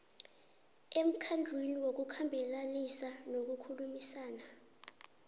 emkhandlwini wokukhambelanisa nokukhulumisana